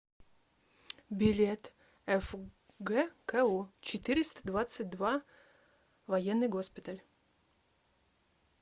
билет фгку четыреста двадцать два военный госпиталь